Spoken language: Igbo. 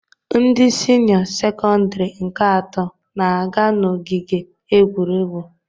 Ndị sinịọ sekọndirị nke ato na-aga n'ogige egwuregwu.